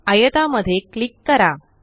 आयता मध्ये क्लिक करा